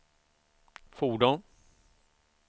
fordon